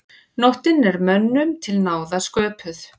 Nóttin er mönnum til náða sköpuð.